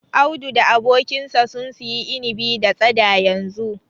Audu da abokinsa sun siyi inibi da tsada yanzu.